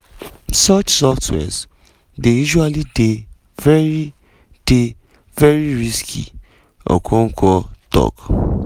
"such softwares dey usually dey very dey very risky" okonkwo tok.